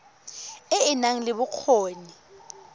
e e nang le bokgoni